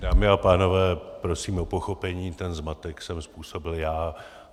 Dámy a pánové, prosím o pochopení, ten zmatek jsem způsobil já.